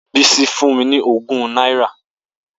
Bisi fun mi ni ogun naira.